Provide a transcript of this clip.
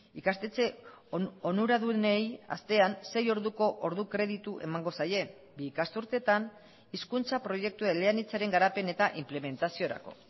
ikastetxe onuradunei astean sei orduko ordu kreditu emango zaie bi ikasturtetan hizkuntza proiektu eleanitzaren garapen eta inplementaziorako